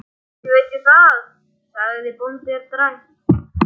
Ekki veit ég það, sagði bóndinn dræmt.